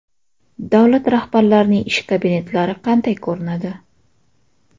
Davlat rahbarlarining ish kabinetlari qanday ko‘rinadi?